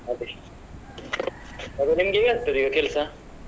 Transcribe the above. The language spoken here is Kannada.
ಅದೇ ಮತ್ತೆ ನಿಮ್ಗೆ ಹೇಗಾಗ್ತದೆ ಈಗ ಕೆಲ್ಸ?